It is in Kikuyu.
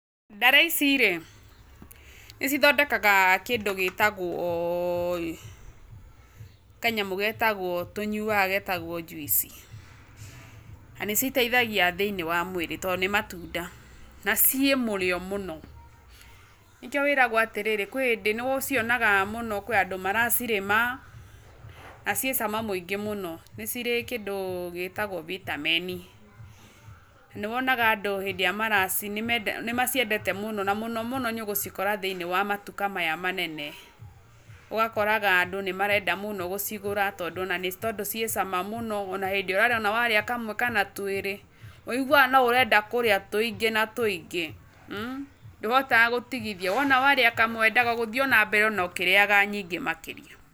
Ndare ici rĩ, nĩ cithondekaga kĩndũ gĩtagwo, kanyamũ tũnyuaga getagwo juice na nĩ citeithagia thĩiniĩ wa mũĩrĩ tondũ nĩ matunda na ciĩ mũrĩo mũno. Nĩkĩo wĩragũo atĩrĩrĩ kwĩ hĩndĩ nĩ ũcionaga mũno kwĩ andũ maracirĩma na ciĩ cama mũno nĩ cirĩ kĩndũ gĩtagwo vitamin. Nĩwonaga andũ hĩndĩ ĩrĩa maracirĩa nĩ maciendete mũno na mũno mũno nĩ ũgũcikora thĩiniĩ wa matuka maya manene. Ũgakoraga andũ nĩ marenda mũno gũcigũra tondũ ciĩ cama mũno na hĩndĩ ũrarĩa ona warĩa kamwe kana twĩrĩ ũiguaga no urenda kũrĩa tũingĩ na tũingĩ, ndũhotaga gũtigithia, wona warĩa kamwe wendaga gũthiĩ ona mbere ũkĩrĩaga nyingĩ makĩria.